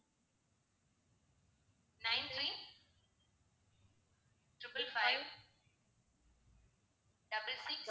nine three triple five double six